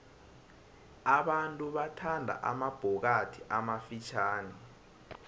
abantu bathanda amabhokathi amafitjhani